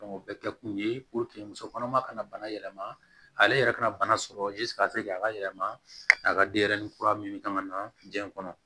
o bɛɛ kɛ kun ye musokɔnɔma kana bana yɛlɛma ale yɛrɛ kana bana sɔrɔ k'a yɛlɛma a ka denyɛrɛnin kura min kan ka na diɲɛ kɔnɔ